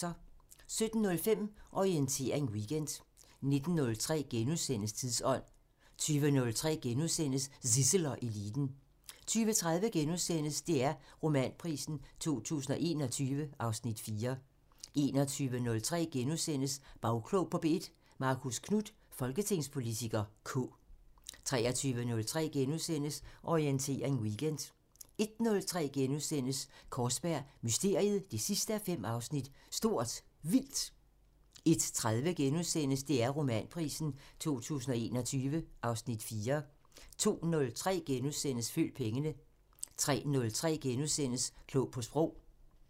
17:05: Orientering Weekend 19:03: Tidsånd * 20:03: Zissel og Eliten * 20:30: DR Romanprisen 2021 (Afs. 4)* 21:03: Bagklog på P1: Marcus Knuth, folketingspolitiker (K) * 23:03: Orientering Weekend * 01:03: Kaarsberg Mysteriet 5:5 – Stort Vildt * 01:30: DR Romanprisen 2021 (Afs. 4)* 02:03: Følg pengene * 03:03: Klog på Sprog *